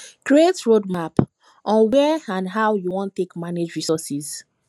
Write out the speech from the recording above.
create roadmap on when and how you wan take manage resources